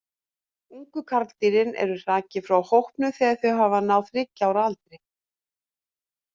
Ungu karldýrin eru hrakin frá hópnum þegar þau hafa náð um þriggja ára aldri.